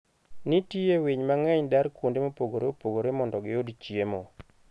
Nitie winy mang'eny dar kuonde mopogore opogore mondo giyud chiemo.